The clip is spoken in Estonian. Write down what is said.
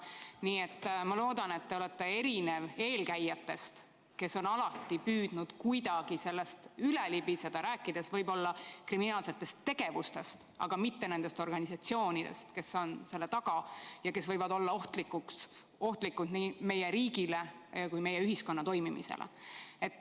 Nii et ma loodan, et te olete erinev eelkäijatest, kes on alati püüdnud kuidagi sellest üle libiseda, rääkides võib-olla kriminaalsetest tegevustest, aga mitte nendest organisatsioonidest, kes on selle taga ja kes võivad olla ohtlikud nii meie riigile kui ka meie ühiskonna toimimisele.